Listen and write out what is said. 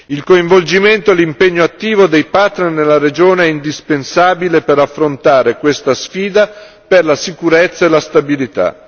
Il coinvolgimento e l'impegno attivo dei partner nella regione è indispensabile per affrontare questa sfida per la sicurezza e la stabilità.